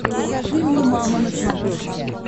покажи мне мама на смотрешке